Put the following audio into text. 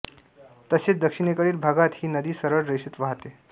तसेच दक्षिणेकडील भागात ही नदी सरळ रेषेत वाहते